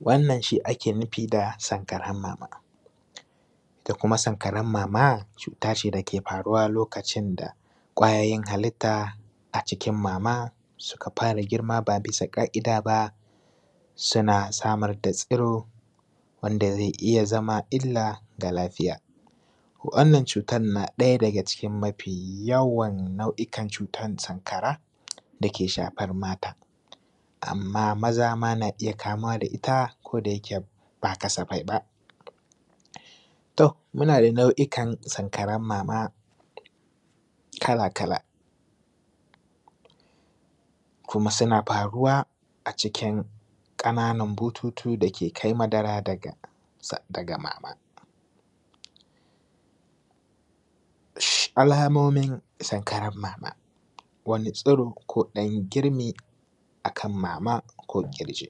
Wannan shi ake nufi da sankaran mama, ita kuma sankaran mama cuta ce da ke faruwa lokacin da kwayoyin halitta a cikin mama suka fara girma ba bisa ƙa’ida ba, suna samar da tsiro wanda zai iya zama illa ga lafiya, wannan cutan na ɗaya daga cikin mafi yawan na’uikan cutan sankaran da ke shafan mata amma maza ma na iya kamuwa da ita ko dayike ba kasafai ba. To, muna da nau’ikan sankaran mama kala-kala kuma suna faruwa a cikin ƙananan bututu da ke kai madara da kansa daga maman, alamomin sankaran mama, wani tsiro ko ɗan girmi a kan maman ko ƙirji,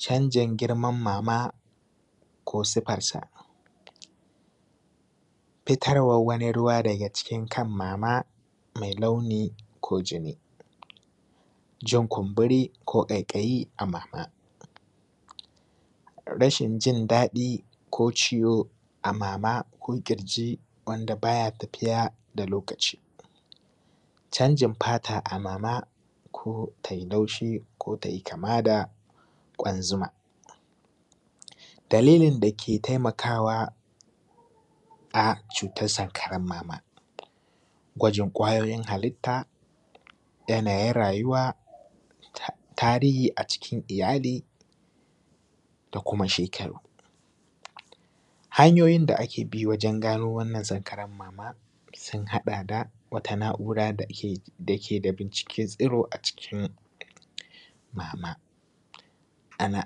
canjin girman mama ko siffarsa, fitarwar wani ruwa daga cikin kan mama mai launi ko jini, jin kumburi ko ƙaiƙayi a mama, rashin jin daɗi ko ciwo a mama ko ƙirji wanda ba ya tafiya da lokaci canjin fata a mama ko tai laushi ko tai kama da kwan zuma. Dalilin da ke taimakawa a cutar sankaran mama, gwajin kwayoyin halitta, yanayin rayuwa tarihi a cikin iyali da kuma shekaru. Hanyoyin da ake bi wajan gano wannan sankaran mama sun haɗa da: wata na’ura da ke da binciken tsiro a jikin mama, ana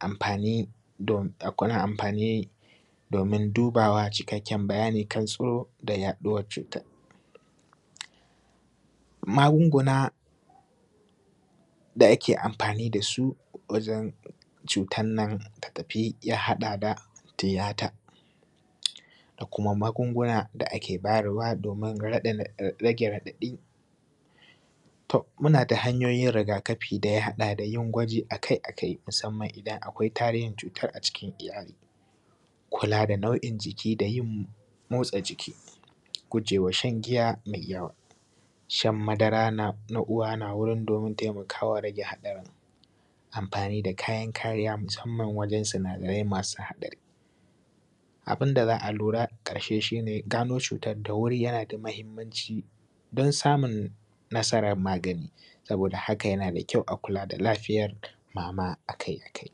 amfani domin dubawa cikakken bayani a kan tsiro da yaɗuwar cutar magunguna da ake amfani da su wajan cutan nan ta tafi ya haɗa da tiyata da kuma magunguna da ake bayarwa domin rage raɗaɗi. To, muna da hanyoyin rigakafi da yin gwaji akai-akai musamman idan akwai tarihin cutan a cikin iyali, kula da nau’in jiki da yin motsa jiki, gujewa shan giya mai yawa, shan madara na uwa na wurin domin taimako, kawo rage hadarin amfani da kayan kariya musamman wajan sinadarai masu haɗari. Abun da za a lura a ƙarshe shi ne gano cutan da wuri yana da mahimmanci dan samun nasaran magani saboda haka yana da kyau a kula da lafiyar mama akai-akai.